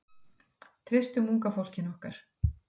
Treystum unga fólkinu okkar.